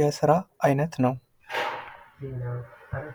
የስራ አይነት ነው ።